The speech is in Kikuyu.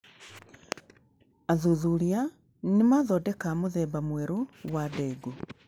Athuthuria nĩmaathondeka mũthemba mwerũ wa ndengũ